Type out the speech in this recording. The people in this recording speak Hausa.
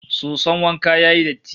Soson wanka ya yi datti